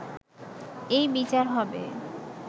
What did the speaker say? এই বিচার হবে